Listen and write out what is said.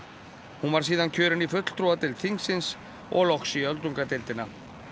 hún var síðan kjörin í fulltrúadeild þingsins og loks í öldungadeildina